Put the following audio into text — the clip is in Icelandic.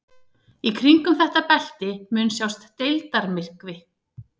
Í kringum þetta belti mun sjást deildarmyrkvi.